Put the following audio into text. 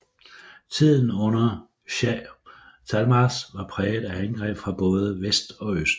Tiden under Shāh Tahmāsp var præget af angreb fra både vest og øst